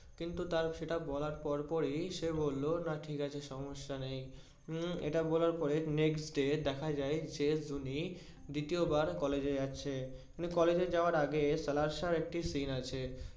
কিন্তু তার সেটা বলার পর পরই সে বললো না ঠিকাছে সম্যসা নেই উম এটা বলার পরে next day দেখা যাই যে জুনি দ্বিতীয়বার college এ যাচ্ছে। college যাওয়ার আগে সাহেব এর একটি scene আছে।